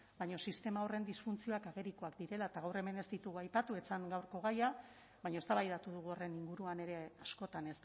baina sistema horren disfuntzioak agerikoak direla eta gaur hemen ez ditugu aipatu ez zen gaurko gaia baina eztabaidatu dugu horren inguruan ere askotan